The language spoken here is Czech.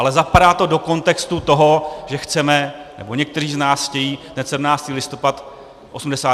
Ale zapadá to do kontextu toho, že chceme - nebo někteří z nás chtějí - ten 17. listopad 1989 vymazat.